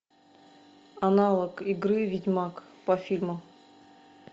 аналог игры ведьмак по фильму